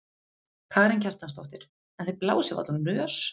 Karen Kjartansdóttir: En þið blásið varla úr nös?